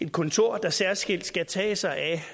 kontor der særskilt skal tage sig af